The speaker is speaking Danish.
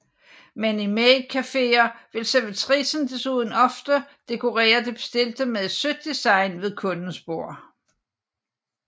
Men i maid caféer vil servitricen desuden ofte dekorere det bestilte med et sødt design ved kundens bord